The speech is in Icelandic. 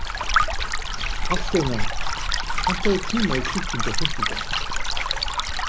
Hafsteina, pantaðu tíma í klippingu á fimmtudaginn.